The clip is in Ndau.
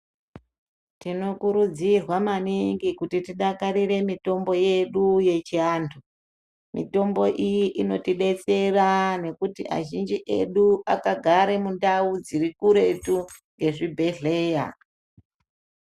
Tinokurudzirwa maningi kuti tidakarire mitombo yedu yechiantu. Mitombo iyi inotibetsera ngekuti azhinji edu akagare mundani dzirikuretu kwezvibhehleya.